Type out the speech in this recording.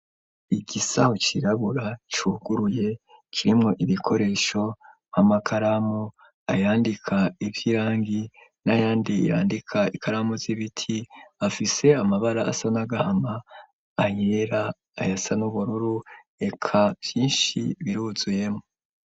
Igisaho cirabura cuguruye kirimwo ibikoresho nk'amakaramu, ayandika ivy'irangi n'ayandi yandika ikaramu z'ibiti, afise amabara asa n'agahama, ayera, ayasa n'ubururu, eka vyinshi biruzuyemwo.